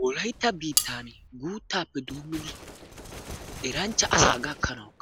Wolaytta biittan guutta asaappe doommidi eranchcha asaa gakkanawu